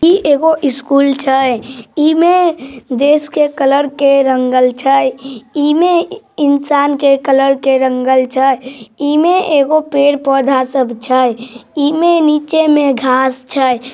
ई एगो स्कूल छए ई मे देश के कलर के रंगल छए ई मे इंसान के कलर के रंगल छ ई मे एगो पेड़ पोधा सब छए ई मे नीचे मे घाँस छए।